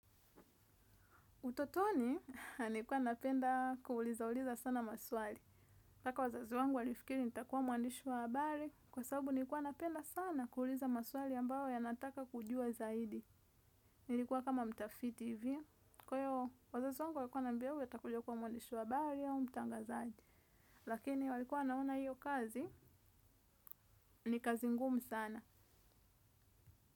Utotoni, nilikuwa napenda kuuliza uuliza sana maswali. Mpaka wazazi wangu walifikiri nitakuwa mwandishi wa habari. Kwa sababu nilikuwa napenda sana kuuliza maswali ambayo yanataka kujua zaidi. Nilikuwa kama mtafiti hivi. Kwahyo, wazazi wangu walikuwa wananiambia huyu atakuja kuwa mwandishi wa habari au mtangazaji. Lakini walikuwa wanaona hiyo kazi, ni kazi ngumu sana.